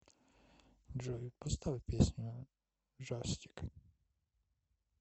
джой поставь песню джастик